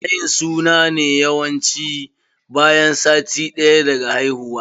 Ana yin suna ne yawanci bayan sati ɗaya daga haihuwa.